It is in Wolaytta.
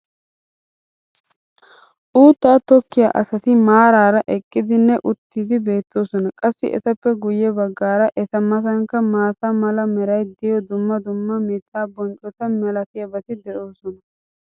uuttaa tokkiya asati maarara eqqidinne uttidi beetoosona. qassi etappe guye bagaara eta matankka maata mala meray diyo dumma dumma mitaa bonccota malatiyaabati de'oosona.